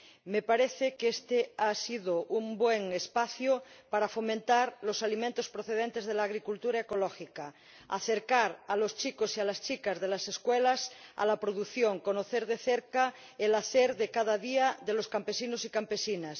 Me parece que este ha sido un buen espacio para fomentar los alimentos procedentes de la agricultura ecológica, acercar a los chicos y a las chicas de las escuelas a la producción y conocer de cerca el hacer de cada día de los campesinos y campesinas.